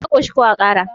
ka koshi ko a Kara?